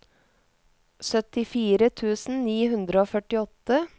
syttifire tusen ni hundre og førtiåtte